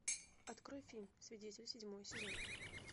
открой фильм свидетель седьмой сезон